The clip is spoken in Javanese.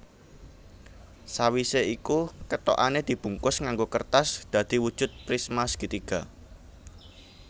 Sawisé iku kethokané dibungkus nganggo kertas dadi wujud prismasegitiga